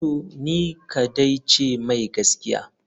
To ni kadai ce mai gaskiya?